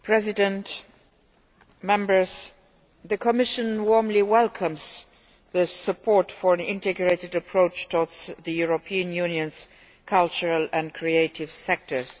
Mr President, the Commission warmly welcomes support for an integrated approach towards the European Union's cultural and creative sectors.